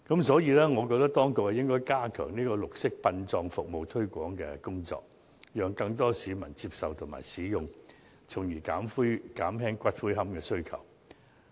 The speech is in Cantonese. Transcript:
所以，我認為當局應該加強綠色殯葬服務的推廣工作，讓更多市民接受和使用有關服務，從而減輕對龕位的需求。